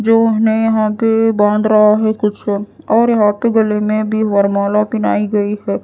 जो हमे यहाँ पे बांन रहा हैं कुछ और यहां पे गले में भी वरमाला पहनाई गइ हे।